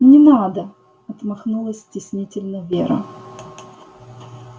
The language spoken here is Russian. не надо отмахнулась стеснительно вера